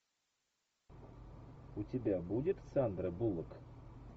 у тебя будет сандра буллок